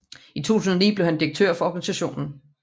I 2009 blev han direktør for organisationen